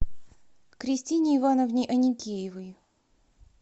кристине ивановне аникеевой